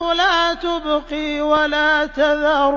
لَا تُبْقِي وَلَا تَذَرُ